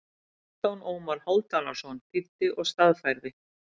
Hálfdan Ómar Hálfdanarson þýddi og staðfærði.